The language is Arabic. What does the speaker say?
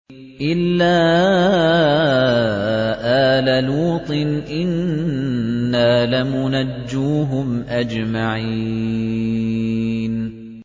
إِلَّا آلَ لُوطٍ إِنَّا لَمُنَجُّوهُمْ أَجْمَعِينَ